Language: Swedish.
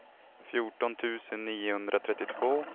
fjorton tusen niohundratrettiotvå